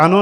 Ano.